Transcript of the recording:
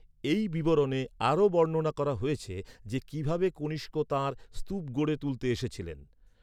এই বিবরণে আরও বর্ণনা করা হয়েছে যে, কীভাবে কনিষ্ক তাঁর স্তূপ গড়ে তুলতে এসেছিলেন।